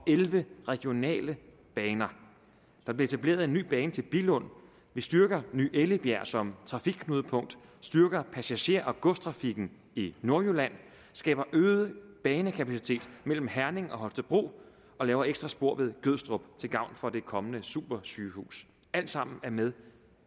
elleve regionale baner der bliver etableret en ny bane til billund vi styrker ny ellebjerg som trafikknudepunkt vi styrker passager og godstrafikken i nordjylland skaber øget banekapacitet mellem herning og holstebro og laver ekstra spor ved gødstrup til gavn for det kommende supersygehus alt sammen er med